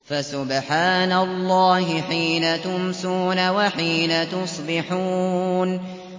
فَسُبْحَانَ اللَّهِ حِينَ تُمْسُونَ وَحِينَ تُصْبِحُونَ